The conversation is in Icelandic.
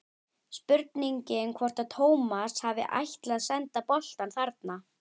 Spurning hvort að Tómas hafi ætlað að senda boltann þarna?